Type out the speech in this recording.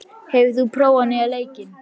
Svanfríður, hefur þú prófað nýja leikinn?